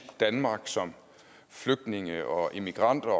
danmark som flygtninge og immigranter